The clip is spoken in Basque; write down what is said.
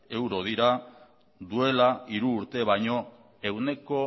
euro dira duela hiru urte baino ehuneko